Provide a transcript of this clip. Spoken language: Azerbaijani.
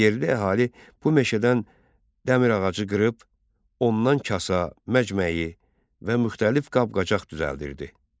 Yerli əhali bu meşədən dəmir ağacı qırıb, ondan kasa, məcməyi və müxtəlif qab-qacaq düzəldirdi.